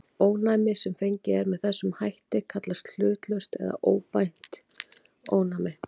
Ónæmi sem fengið er með þessum hætt kallast hlutlaust eða óbeint ónæmi.